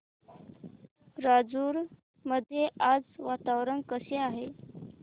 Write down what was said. राजूर मध्ये आज वातावरण कसे आहे